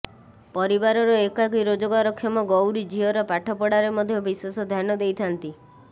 ପରିବାରର ଏକାକୀ ରୋଜଗାରକ୍ଷମ ଗୈାରୀ ଝିଅର ପାଠପଢାରେ ମଧ୍ୟ ବିଶେଷ ଧ୍ୟାନ ଦେଇଥାନ୍ତି